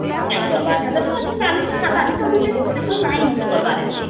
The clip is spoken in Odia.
ନାଇଁ କରିବାର ସେଟାରେ ସେଟା ଚାଲୁଛେ ଖାତା ବି ଚାଲୁଛେ..ନାଇଁ use କରିବାର ଏତେ